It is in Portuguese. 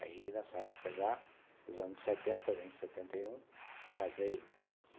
Aí, nessa época já, os anos setenta, setenta e um, casei.